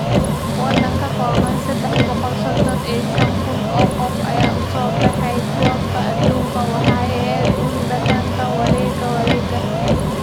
Waddan ka kooban seddax boqol sodhon iyo shaan kuun oo qof ayaa u soo baxay Koobka Adduunka Waxay ahayd uun dhadhanka wareegga wareegga!